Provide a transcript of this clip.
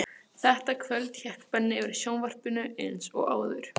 Þetta kvöld hékk Benni yfir sjónvarpinu eins og áður.